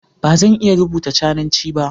Ba zan iya rubuta Cananci ba.